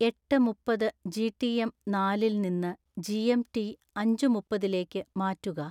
എട്ട് മുപ്പത് ജിടിഎം നാലിൽ നിന്ന് ജി.എം. ടി. അഞ്ചു മുപ്പതിലേക്ക് മാറ്റുക